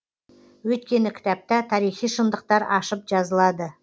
өйткені кітапта тарихи шындықтар ашып жазылады